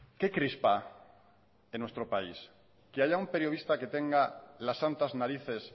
qué crispa en nuestro país que haya un periodista que tenga las santas narices